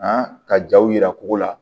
A ka jaw yira ko la